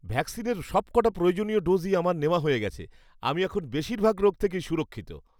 ভ্যাকসিনের সবকটা প্রয়োজনীয় ডোজই আমার নেওয়া হয়ে গেছে। আমি এখন বেশিরভাগ রোগ থেকেই সুরক্ষিত।